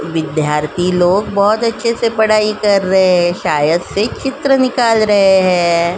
विद्यार्थी लोग बोहोत अच्छे से पढ़ाई कर रहे हैं शायद से चित्र निकाल रहे हैं।